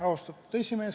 Austatud esimees!